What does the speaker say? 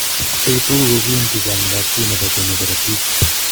Biik tuguk ko kiinti chaang'intaab 2 ne po che mi korotiik.